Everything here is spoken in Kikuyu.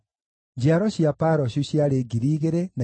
njiaro cia Paroshu ciarĩ 2,172